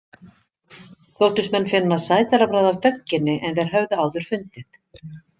Þóttust menn finna sætara bragð af dögginni en þeir höfðu áður fundið.